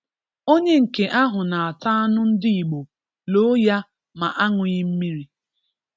Onye nke ahu na-ata anu ndi Igbo loo ya ma ańughi mmiri.